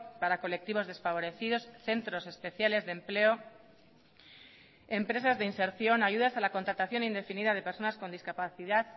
para colectivos desfavorecidos centros especiales de empleo empresas de inserción ayudas a la contratación indefinida de personas con discapacidad